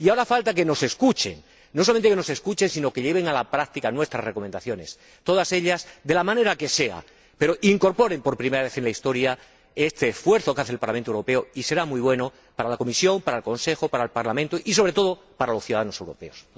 Y ahora falta que nos escuchen, no solamente que nos escuchen, sino que lleven a la práctica nuestras recomendaciones, todas ellas de la manera que sea, pero que incorporen por primera vez en la historia este esfuerzo que hace el Parlamento Europeo, lo que será muy positivo para la Comisión, para el Consejo, para el Parlamento y, sobre todo, para los ciudadanos europeos.